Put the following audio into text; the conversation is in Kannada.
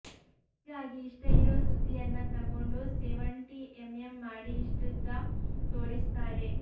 ಹೀಗಾಗಿ ಇಷ್ಟ ಇರೋ ಸುದ್ದಿಯನ್ನ ತಗೊಂಡು ಸೆವಂಟಿ ಎಂಎಂ ಮಾಡಿ ಇಷ್ಟುದ್ದ ತೋರಿಸ್ತಾರೆ